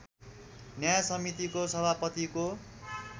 न्याय समितिको सभापतिको